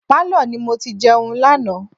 Pálọ̀ ni mo ti jẹun lánàá.